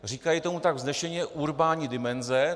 Říkají tomu tak vznešeně: urbánní dimenze.